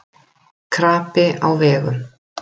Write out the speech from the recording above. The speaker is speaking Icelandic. Krapi á vegum